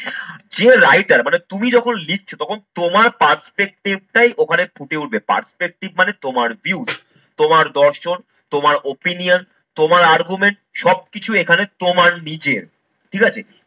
যে writer মানে তুমি যখন লিখছো তখন তোমার perspective টাই ওখানে ফুটে উঠবে। Perspective মানে তোমার views তোমার দর্শন, তোমার opinion তোমার argument সবকিছু এখানে তোমার নিজের ঠিকাছে।